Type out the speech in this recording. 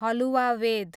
हलुवावेद